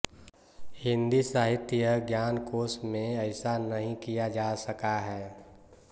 हिंदी साहित्य ज्ञानकोश में ऐसा नहीं किया जा सका है